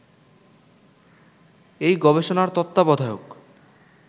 এই গবেষণার তত্ত্বাবধায়ক